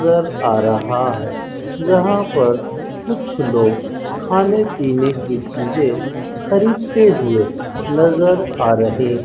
आ रहा है जहां पर कुछ लोग खाने पीने की चीजें खरीदते हुए नजर आ रहे --